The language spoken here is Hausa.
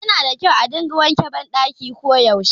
Yana da kyau a dinga wanke ban ɗaki ko yaushe